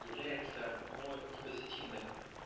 является но не позитивным